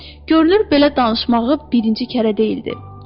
Görünür belə danışmağı birinci kərə deyildi.